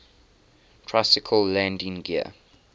tricycle landing gear